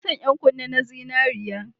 Ina son yan kunne na zinariya